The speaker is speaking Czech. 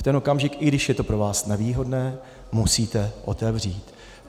V ten okamžik, i když je to pro vás nevýhodné, musíte otevřít.